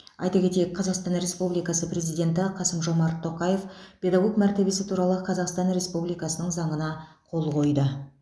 айта кетейік қазақстан республикасы президенті қасым жомарт тоқаев педагог мәртебесі туралы қазақстан республикасының заңына қол қойды